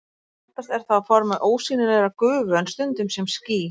Oftast er það á formi ósýnilegrar gufu en stundum sem ský.